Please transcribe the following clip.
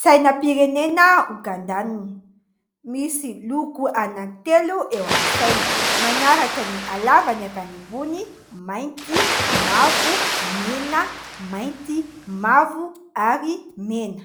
Sainam-pirenena ogandianina, misy loko anankitelo eo amin'ny saina, manaraka ny halavany avy any ambony : mainty, mavo, mena, mainty, mavo ary mena.